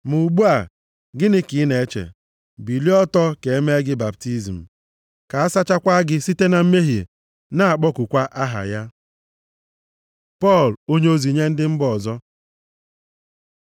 Ma ugbu a, gịnị ka ị na-eche? Bilie ọtọ, ka e mee gị baptizim, ka a sachakwa gị site na mmehie, na-akpọkukwa aha ya.’ Pọl onyeozi nye ndị mba ọzọ